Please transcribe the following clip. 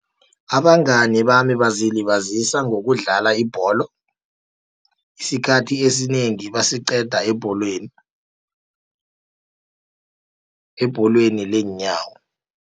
Abangani bami bazilibazisa ngokudlala ibholo, isikhathi esinengi basiqeda ebholweni, ebholweni leenyawo.